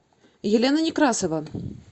елена некрасова